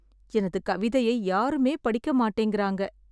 எனது கவிதையை யாருமே படிக்க மாட்டேங்கிறாங்க.